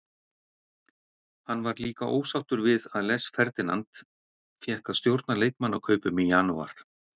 Hann var líka ósáttur við að Les Ferdinand fékk að stjórna leikmannakaupum í janúar.